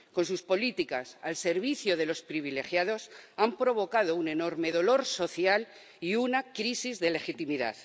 Con sus políticas, al servicio de los privilegiados, han provocado un enorme dolor social y una crisis de legitimidad.